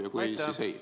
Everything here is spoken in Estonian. Ja kui ei, siis ei.